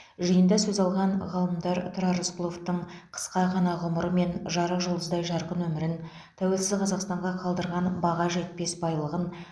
жиында сөз алған ғалымдар тұрар рысқұловтың қысқа ғана ғұмыры мен жарық жұлдыздай жарқын өмірін тәуелсіз қазақстанға қалдырған баға жетпес байлығын